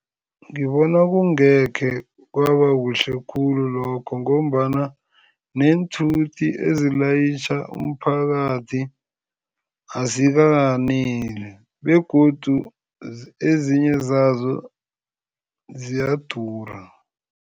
Ngibona kungekhe kwabakuhle khulu lokho ngombana neenthuthi ezilayitjha umphakathi azikaneli begodu ezinye zazo ziyadura.